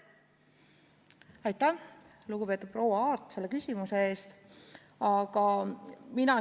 Aitäh, lugupeetud proua Aart, selle küsimuse eest!